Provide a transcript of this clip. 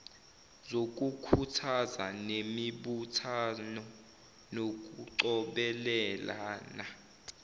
zokukhuthaza nemibuthano yokucobelelana